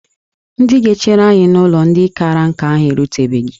Ndị ga-echere anyị n'ụlọ ndị kara nka ahụ erutebeghi